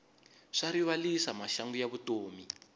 swa rivalisa maxangu ya vutomi